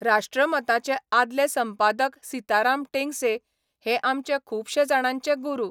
राष्ट्रमता'चे आदले संपादक सिताराम टेंगसे हे आमचे खुबशे जाणांचे गुरू.